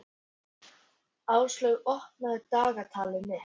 Áslaug, opnaðu dagatalið mitt.